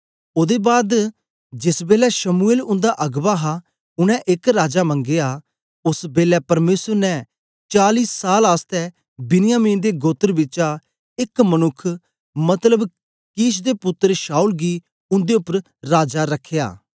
ओदे बाद जेस बेलै शमूएल उन्दा अगबा हा उनै एक राजा मंगया ओस बेलै परमेसर ने चाली साल आसतै बिन्यामिन दे गोत्र बिचा एक मनुक्ख मतलब किश दे पुत्तर शाऊल गी उन्दे उपर राजा रखया